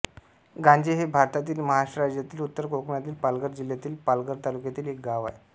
गांजे हे भारतातील महाराष्ट्र राज्यातील उत्तर कोकणातील पालघर जिल्ह्यातील पालघर तालुक्यातील एक गाव आहे